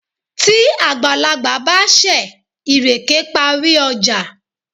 tí àgbàlagbà bá ṣẹ̀, ìrèké parí ọjà.